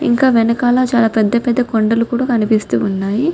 ఇంకా వెనకాల చాలా పెద్ద పెద్ద కొండలు కూడా మనకి కనిపిస్తూ ఉన్నాయి.